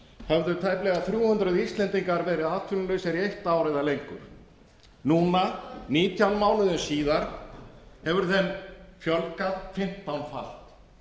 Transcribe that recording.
höfðu tæplega þrjú hundruð íslendingar verið atvinnulausir í eitt ár eða lengur núna nítján mánuðum síðar hefur þeim fjölgað fimmtánfalt það